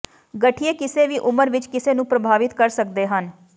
ਗਠੀਏ ਕਿਸੇ ਵੀ ਉਮਰ ਵਿਚ ਕਿਸੇ ਨੂੰ ਪ੍ਰਭਾਵਿਤ ਕਰ ਸਕਦੇ ਹਨ